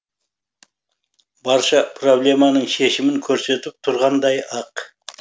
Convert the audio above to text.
барша проблеманың шешімін көрсетіп тұрғандай ақ